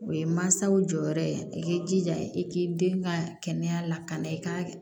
O ye mansaw jɔyɔrɔ ye i k'i jija i k'i den ka kɛnɛya lakana i ka